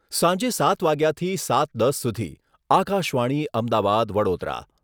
સાંજે સાત વાગ્યાથી સાત દસ સુધી. આકાશવાણી અમદાવાદ, વડોદરા....